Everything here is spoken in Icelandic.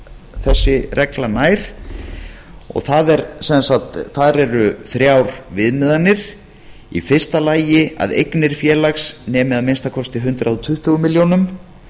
þessi regla nær þar eru þrjár viðmiðanir i fyrsta lagi að eignir félags nemi að minnsta kosti hundrað tuttugu milljónum